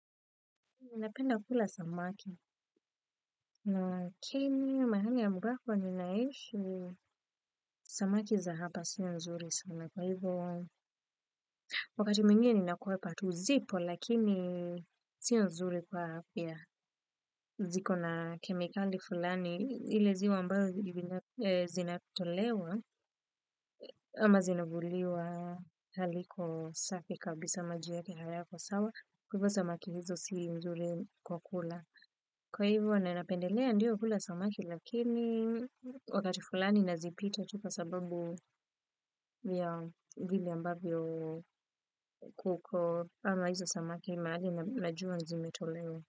Ninapenda kula samaki na kini mahali ambako ninaishi samaki za hapa sio nzuri sana kwa hivyo wakati mingine nakuwe patu zipo lakini sinu nzuri kwa hapa ya ziko na kemikali fulani ili ziwa ambayo zinatolewa ama zinavuliwa haliko safi kabisa maji yake hayako sawa kwa hivyo samaki hizo sili nzuri kwa kula. Kwa hivo na napendelea kula samaki ndiyo lakini wakati fulani nazipita tu sababu vile ambavyo kuko ama hizo samaki najua mahali zimetolewa.